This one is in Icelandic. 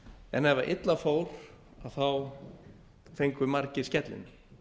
en ef illa fór þá fengu margir skellinn